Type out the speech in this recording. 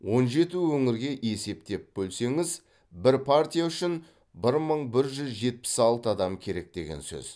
он жеті өңірге есептеп бөлсеңіз бір партия үшін бір мың бір жүз жетпіс алты адам керек деген сөз